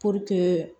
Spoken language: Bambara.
Puruke